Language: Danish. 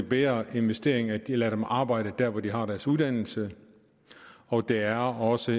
bedre investering at lade dem arbejde der hvor de har deres uddannelse og det er også